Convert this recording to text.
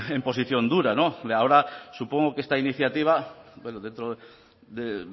en posición dura ahora supongo que esta iniciativa bueno dentro de